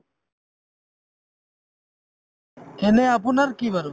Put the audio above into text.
এনে আপোনাৰ কি বাৰু